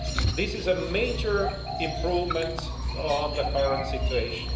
This is a major improvement on the current situation.